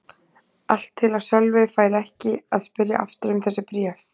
Allt til að Sölvi færi ekki að spyrja aftur um þessi bréf.